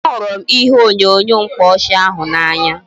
Ee, a hụrụ m ihe onyonyo mkpaọchị ahụ n'anya